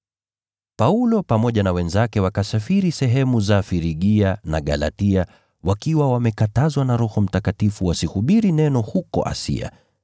Paulo pamoja na wenzake wakasafiri sehemu za Frigia na Galatia, kwa kuwa Roho Mtakatifu hakuwaruhusu kulihubiri neno huko Asia.